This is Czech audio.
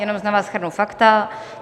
Jenom na vás shrnu fakta.